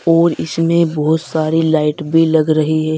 और इसमें बहुत सारी लाइट भी लग रही है।